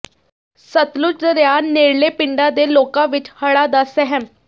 ਸਤਲੁਜ ਦਰਿਆ ਨੇੜਲੇ ਪਿੰਡਾਂ ਦੇ ਲੋਕਾਂ ਵਿੱਚ ਹੜ੍ਹਾਂ ਦਾ ਸਹਿਮ